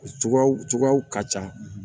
Cogoyaw cogoyaw ka ca